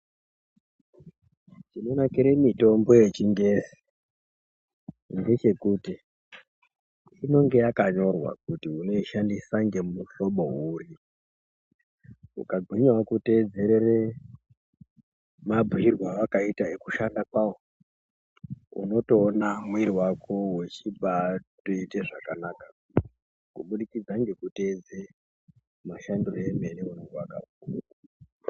Zvinonakira mitombo yechingezi ngechekuti inenge yakanyorwa kuti unoishandisa ngemuhlobo uri ukagwinyawo kuteedzerere mabhuirwo awakaitwa kwekushanda kwawo unotoonawo muwiri wako wechibaatoite zvakanaka kubudikidza ngekutedze mashandiro emene aunege wakanyorwa.